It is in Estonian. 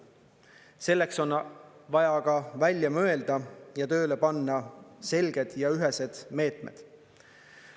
Selleks on vaja ka välja mõelda ja tööle panna selged ja ühesed meetmed.